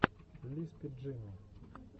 лиспи джимми